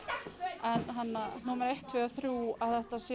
en númer eitt tvö og þrjú að þetta sé